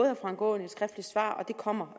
herre frank aaen et skriftligt svar og det kommer